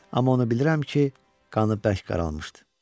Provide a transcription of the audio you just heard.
Amma onu bilirəm ki, qanı bəş qaralmışdı.